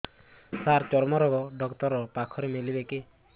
ସାର ଚର୍ମରୋଗ ଡକ୍ଟର ପାଖରେ ମିଳିବେ କି